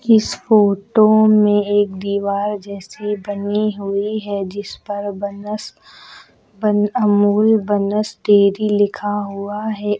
इस फोटो में एक दीवार जैसे बनी हुई है जिस पर बनस अमूल बनस डेरी लिखा हुआ है।